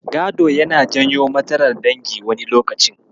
Gado yana janyo matsalar dangi wani lokacin.